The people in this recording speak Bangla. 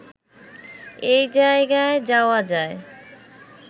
এই জায়গায় যাওয়া যায়